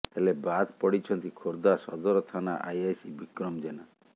ହେଲେ ବାଦ୍ ପଡ଼ିଛନ୍ତି ଖୋର୍ଦ୍ଧା ସଦର ଥାନା ଆଇଆଇସି ବିକ୍ରମ ଜେନା